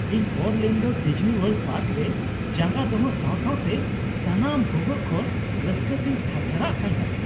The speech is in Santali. ᱤᱧ ᱚᱨᱞᱮᱹᱱᱰᱳᱨ ᱰᱤᱡᱽᱱᱤᱣᱟᱨᱞᱰ ᱯᱟᱨᱠ ᱨᱮ ᱡᱟᱸᱜᱟ ᱫᱚᱦᱚ ᱥᱟᱶ ᱥᱟᱶᱛᱮ ᱥᱟᱱᱟᱢ ᱵᱷᱩᱜᱟᱹᱜ ᱠᱷᱚᱱ ᱨᱟᱹᱥᱠᱟᱹᱛᱤᱧ ᱛᱷᱟᱨ ᱛᱷᱟᱨᱟᱜ ᱠᱟᱱ ᱛᱟᱦᱮᱸ ᱾